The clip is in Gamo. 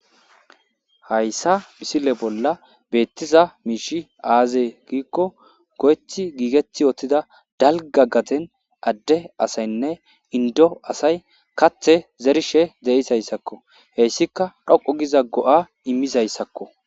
hayssa misile bolla beettiza miishi aazee giikko goyeti giget uttida daliga gaden adde asayinne inido asay kathe zerishe de'izayisakko heyissika dhoqo giza go'a immizayssakko